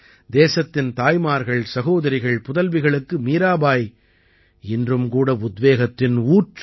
தேசத்தின் தாய்மார்கள்சகோதரிகள் புதல்விகளுக்கு மீராபாய் இன்றும் கூட உத்வேகத்தின் ஊற்று